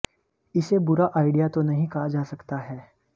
इस बुरा आइडिया तो नहीं कहा जा सकता है